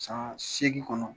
San segin kɔnɔ